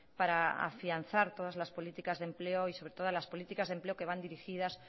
para afianzar todas las políticas de empleo y sobre todo las políticas de empleo que van dirigidas